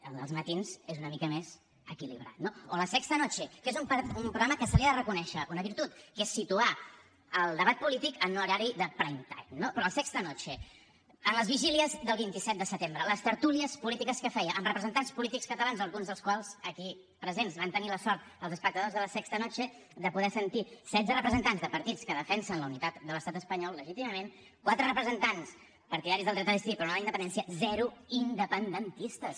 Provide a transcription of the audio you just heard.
el de els matins és una mica més equilibrat no o la sexta noche que és un programa que se li ha de reconèixer una virtut que és situar el debat polític en horari de prime time no però a la sexta nochedel vint set de setembre a les tertúlies polítiques que feia amb representants polítics catalans alguns dels quals aquí presents van tenir la sort els espectadors de la sexta noche de poder sentir setze representants de partits que defensen la unitat de l’estat espanyol legítimament quatre representants partidaris del dret a decidir però no de la independència zero independentistes